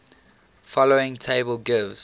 following table gives